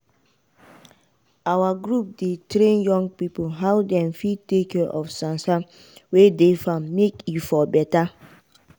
our group dey train young pipo how dem fir take care of sansan wey dey farm make e for beta.